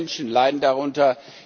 Viele Menschen leiden darunter.